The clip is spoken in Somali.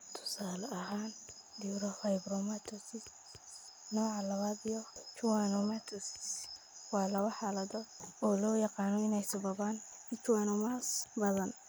Tusaale ahaan, neurofibromatosis nooca lawaad iyo schwannomatosis waa laba xaaladood oo loo yaqaan inay sababaan schwannomas badan.